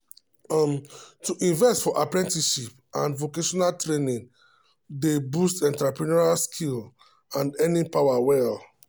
um to invest for apprenticeships and vocational training dey um boost entrepreneurial skills and earning power well.